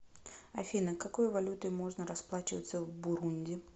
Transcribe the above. афина какой валютой можно расплачиваться в бурунди